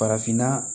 Farafinna